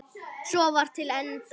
Svo var til enda.